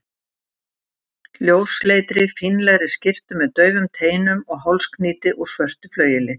ljósleitri, fínlegri skyrtu með daufum teinum og hálsknýti úr svörtu flaueli.